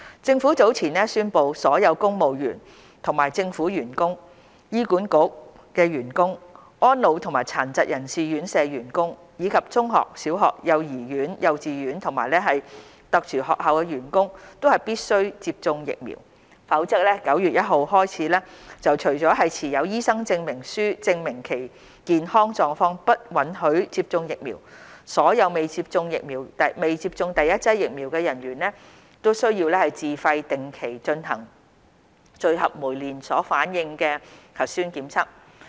政府早前宣布，所有公務員及政府員工、醫院管理局員工、安老及殘疾人士院舍員工，以及中學、小學、幼兒園、幼稚園和特殊學校的員工必須接種疫苗，否則由9月1日起，除了持有醫生證明書證明其健康狀況不允許接種疫苗，所有未接種第一劑疫苗的人員須自費定期進行聚合酶連鎖反應核酸檢測。